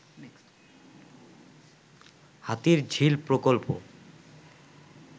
হাতির ঝিল প্রকল্প